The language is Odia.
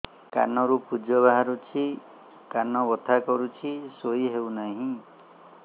କାନ ରୁ ପୂଜ ବାହାରୁଛି କାନ ବଥା କରୁଛି ଶୋଇ ହେଉନାହିଁ